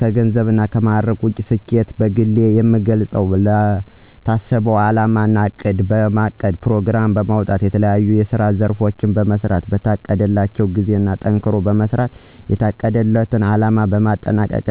ከገንዘብ እና ከማዕረግ ውጭ ስኬትን በግሌ የምገልጸው ለታሰበው አላማ እቅድ በማቀድ ፕሮግራም በማውጣት የተለያዬ የስራ ዘርፎችን በመሥራት በታቀደላቸው ጊዜ ጠንክሮ በመስራት የታቀደለት አለማ በማጠናቀቅ